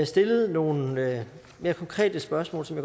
stillet nogle mere konkrete spørgsmål som